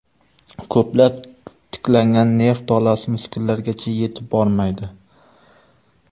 Ko‘plab tiklangan nerv tolasi muskullargacha yetib bormaydi.